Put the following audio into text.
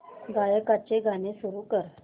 गायकाचे गाणे सुरू कर